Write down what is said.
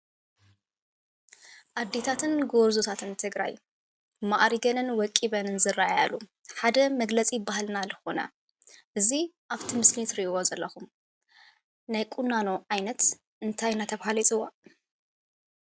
ኣዴታትን ጎርዘታትን ትግራይ ማዕሪገንን ወቂበንን ዝረኣይሉ ሓደ መግለፂ ባህልና ዝኮነ እዚ ኣብቲ ምስሊ እትርእይዎ ዘለኩም ናይ ቁናኖ ዓይነት እንታይ እንዳተባሃለ ይፅዋዕ?